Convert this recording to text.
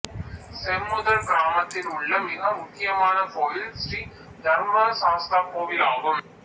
செம்முதல் கிராமத்தில் உள்ள மிக முக்கியமான கோவில் ஸ்ரீ தர்மசாஸ்தா கோவிலாகும்